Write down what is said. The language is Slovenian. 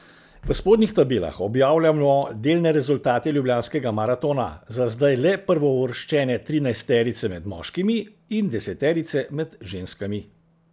V spodnjih tabelah objavljamo delne rezultate ljubljanskega maratona, za zdaj le prvouvrščene trinajsterice med moškimi in deseterice med ženskami.